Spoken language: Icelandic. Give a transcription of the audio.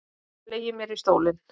Ég fleygi mér í stólinn.